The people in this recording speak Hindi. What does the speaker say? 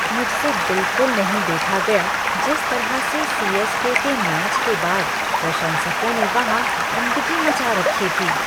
मुझसे बिलकुल नहीं देखा गया जिस तरह से सी.एस.के. के मैच के बाद प्रशंसकों ने वहाँ गंदगी मचा रखी थी।